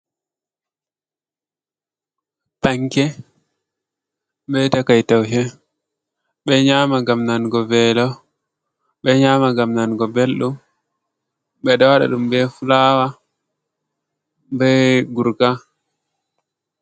Panke be takai taushe, ɓe nyama gam nango velo, ɓe nyama gam nango ɓeldum, ɓeɗo waɗaɗum be fulawa, be Gurka.